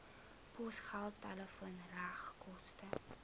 posgeld telefoon regskoste